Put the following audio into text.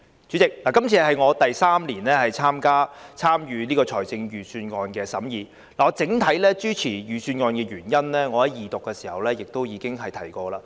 主席，這是我第三年參與財政預算案的審議，我整體支持預算案的原因，已在《條例草案》二讀時提及。